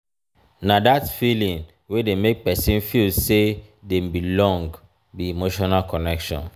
na dat feeling wey dey make pesin feel sey dem belong be emotional connection.